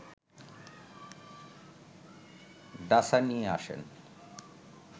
ডাসা নিয়ে আসেন